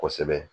Kosɛbɛ